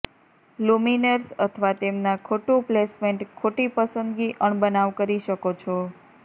luminaires અથવા તેમના ખોટું પ્લેસમેન્ટ ખોટી પસંદગી અણબનાવ કરી શકો છો